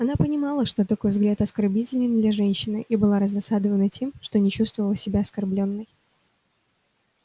она понимала что такой взгляд оскорбителен для женщины и была раздосадована тем что не чувствовала себя оскорблённой